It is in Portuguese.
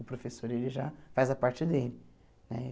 O professor, ele já faz a parte dele né.